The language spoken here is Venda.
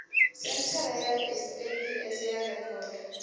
senthara ya saps ya rekhodo